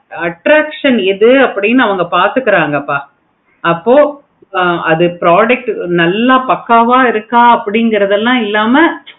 address எது அவங்க பார்த்துகிறாங்க அப்போ அது ஆஹ் product எல்லா பக்கவா இருக்குது அப்படிங்கிறது இல்லாம